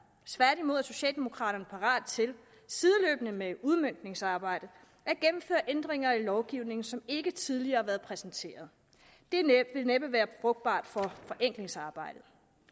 tværtimod er socialdemokraterne parate til sideløbende med udmøntningsarbejdet at gennemføre ændringer i lovgivningen som ikke tidligere har været præsenteret det vil næppe være frugtbart for forenklingsarbejdet